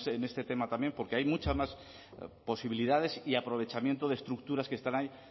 en este tema también porque hay muchas más posibilidades y aprovechamiento de estructuras que están ahí